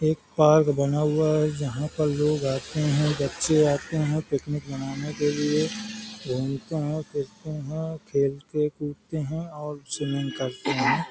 एक पार्क बना हुआ है जहां पर लोग आते है बच्चे आते है पिकनिक मनाने के लिए घूमते है फिरते है और खेलते कूदते है और स्विमिंग करते है।